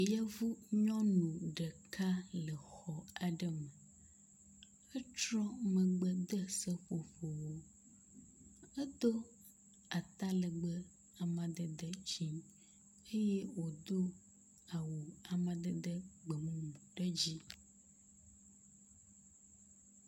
Yevunyɔnu ɖeka le xɔ aɖe me. Etrɔ megbe de seƒoƒoawo. Edo ata legbe amadede dzɛ̃ eye wòdo awu amadede gbe mumu ɖe dzi.